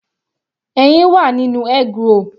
Ẹyin wà nínú eggroll.